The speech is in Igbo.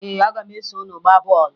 Ee, aga m eso unu gbaa bọọlụ